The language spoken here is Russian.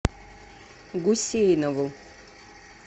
гусейнову